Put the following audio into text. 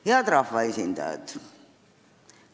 Head rahvaesindajad!